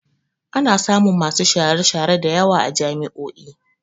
Ana samun masu share-share da yawa a jami'o'i.